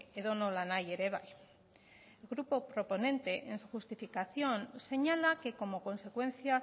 edonola nahi ere bai el grupo proponente en su justificación señala que como consecuencia